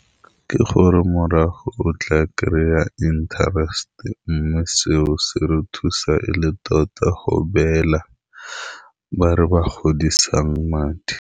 Ke gore morago o tla kry-a interest-e, mme seo se re thusa e le tota go beela ba re ba godisang madi.